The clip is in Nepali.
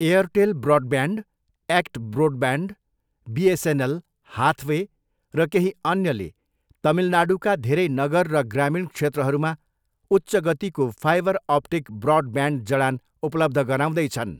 एअरटेल ब्रोडब्यान्ड, एक्ट ब्रोडब्यान्ड, बिएसएनएल, हाथवे र केही अन्यले तमिलनाडुका धेरै नगर र ग्रामीण क्षेत्रहरूमा उच्च गतिको फाइबर अप्टिक ब्रोडब्यान्ड जडान उपलब्ध गराउँदैछन्।